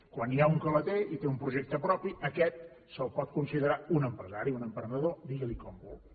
quan n’hi ha un que la té i té un projecte propi a aquest se’l pot considerar un empresari un emprenedor digui li com vulgui